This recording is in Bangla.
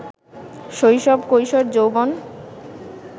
শৈশব কৈশোর যৌবন